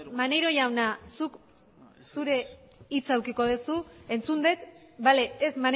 maneiro jauna zuk zure hitza edukiko duzu entzun dut bale ez